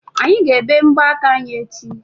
Anyị ga-ebe mbọ aka anyi echi.